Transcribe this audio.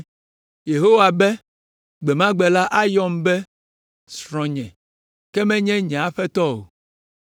Yehowa be, “Gbe ma gbe la ayɔm be, ‘Srɔ̃nye,’ ke menye ‘Nye Aƒetɔ’ o.